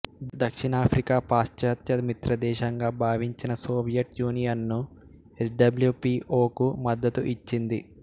దక్షిణాఫ్రికా పాశ్చాత్య మిత్రదేశంగా భావించిన Soviet union S W P O కు మద్దతు ఇచ్చింది